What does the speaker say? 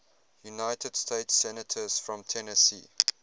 united states senators from tennessee